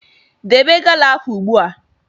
Debe gala ahụ ugbu a!